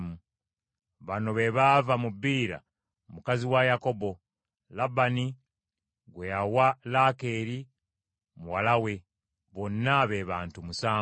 Bano be baava mu Biira mukazi wa Yakobo, Labbaani gwe yawa Laakeeri muwala we; bonna be bantu musanvu.